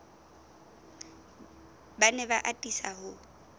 ba ne ba atisa ho